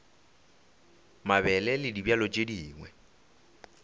mabele le dibjalo tše dingwe